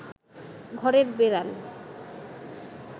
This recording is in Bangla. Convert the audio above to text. ঘরের বেড়াল